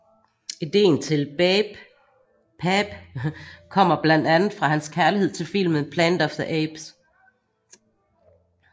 Ideen til BAPE kommer blandt andet fra hans kærlighed til filmen Planet of the Apes